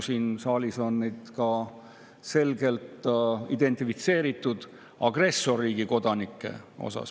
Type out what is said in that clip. Siin saalis on nad selgelt identifitseeritud agressorriigi kodanikena.